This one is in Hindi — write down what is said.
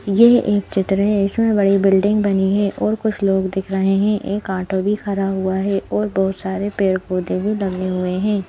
यह एक चित्र है इसमें बड़ी बिल्डिंग बनी है और कुछ लोग दिख रहे हैं एक ऑटो भी खड़ा हुआ है और बहुत सारे पेड़-पौधे भी लगे हुए हैं।